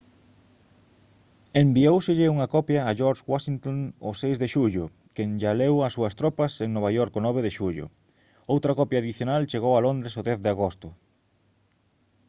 envióuselle unha copia a george washington o 6 de xullo quen lla leu ás súas tropas en nova york o 9 de xullo outra copia adicional chegou a londres o 10 de agosto